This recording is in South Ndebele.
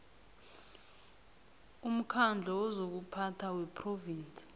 umkhandlu wezokuphatha wephrovinsi